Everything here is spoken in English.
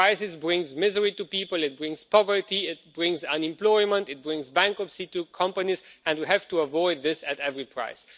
Crisis brings misery to people, it brings poverty, it brings unemployment, it brings bankruptcy to companies, and we have to avoid this at any price.